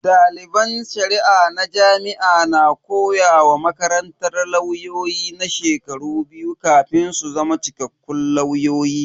Daliban Shari'a na jami'a na komawa makarantar lauyoyi na shekaru biyu kafin su zama cikakkun lauyoyi.